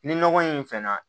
Ni nɔgɔ in fɛn na